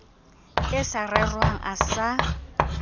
e sa rerwang a sa